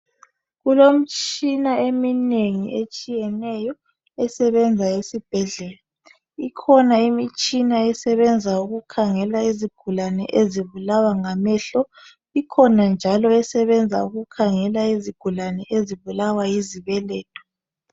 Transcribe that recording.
Kulomtshina eminengi etshiyeneyo esebenza esibhedlela. Ikhona imitshina esebenza ukukhangela izigulani ezibulawa ngamehlo ikhona njalo esebenza ukukhangela izigulani ezibulawa yizibeletho.